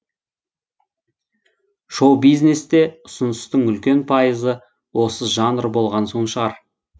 шоу бизнесте ұсыныстың үлкен пайызы осы жанр болған соң шығар